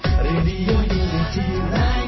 M